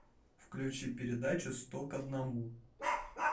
включи передачу сто к одному